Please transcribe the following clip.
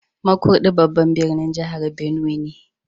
Markudi babban birnin jihar benue ne